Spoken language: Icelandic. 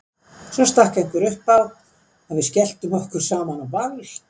Svo stakk einhver upp á að við skelltum okkur saman á ball.